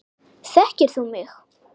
Þekkir þú mig?